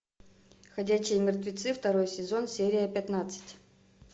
ходячие мертвецы второй сезон серия пятнадцать